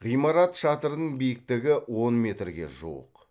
ғимарат шатырын биіктігі он метрге жуық